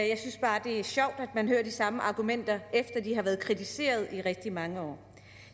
jeg synes bare det er sjovt at man hører de samme argumenter efter at de har været kritiseret i rigtig mange år